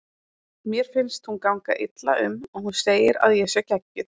Mér finnst hún ganga illa um og hún segir að ég sé geggjuð.